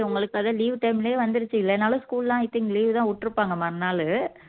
so உங்களுக்கு அது leave time லயே வந்துருச்சு இல்லைனாலும் school லாம் i think leave தான் விட்டு இருப்பாங்க மறுநாளு